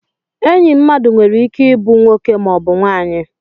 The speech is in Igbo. Enyi mmadụ nwere ike ịbụ nwoke maọbụ nwanyị